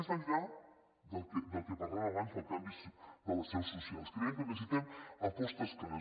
més enllà del que parlàvem abans del canvi de les seus socials creiem que necessitem apostes clares